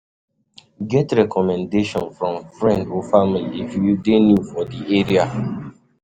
Get recommendation from friend or family if you dey new for di area